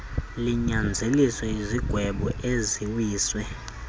linyanzelise izigwebo eziwiswe